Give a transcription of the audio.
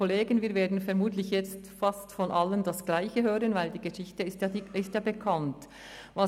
Wir werden vermutlich jetzt fast von allen das Gleiche hören, weil die Geschichte ja bekannt ist.